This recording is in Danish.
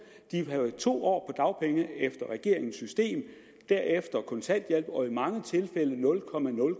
de vil have to år på dagpenge efter regeringens system derefter kontanthjælp og i mange tilfælde nul